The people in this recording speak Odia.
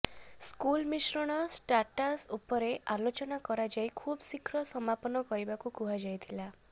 ସ୍କୁଲ ମିଶ୍ରଣ ଷ୍ଟାଟାସ ଉପରେ ଆଲୋଚନା କରାଯାଇ ଖୁବ ଶୀଘ୍ର ସମାପନ କରିବାକୁ କୁହାଯାଇଥିଲା